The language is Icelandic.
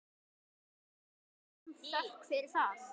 Hafi hann þökk fyrir það.